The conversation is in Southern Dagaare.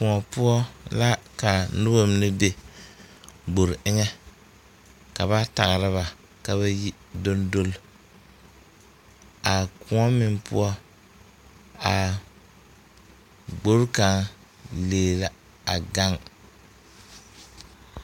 Koɔ poɔ la ka noba mine be gbore eŋɛ ka ba tagra ba ka ba yi doŋdol a koɔ meŋ poɔ aa gbore kaŋ lee la gaŋ.